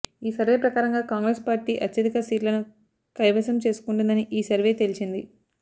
ఈ సర్వే ప్రకారంగా కాంగ్రెస్ పార్టీ అత్యధిక సీట్లను కైవసం చేసుకొంటుందని ఈ సర్వే తేల్చింది